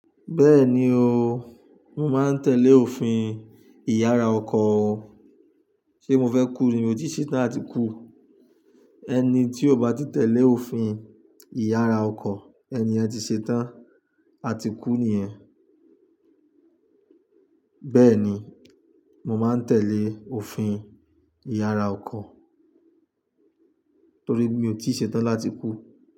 Bẹ́ẹ̀ni o, mo máa ń tẹ̀lé òfin ìyára ọkọ. Sé mo fẹ́ kú ni? Mi ò tí ṣe tán ati kú. Ẹni tí ò bá ti tẹ̀lé òfin ìyára ọkọ, ẹni yẹ ti ṣe tán, a ti kú ni ye. Bẹ́ẹ̀ni, mo máa ń tẹ̀lé òfin ìyára ọkọ torí mi ò tí ṣe tán láti kú.